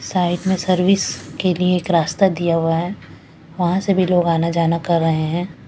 Side में service के लिए एक रास्ता दिया हुआ है वहां से भी लोग आना जाना कर रहे हैं।